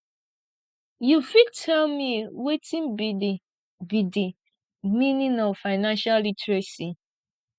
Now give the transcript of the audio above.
you fit tell me wetin be di be di meaning of financial literacy